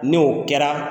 N'o kɛra